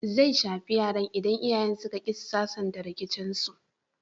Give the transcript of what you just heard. Zai shafi yaran idan iyayen suka ƙi su sasanta rikicinsu.